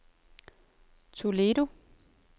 Toledo